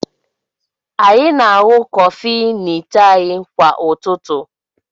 Anyị na-aṅụ kọfị n'ite anyị kwa ụtụtụ.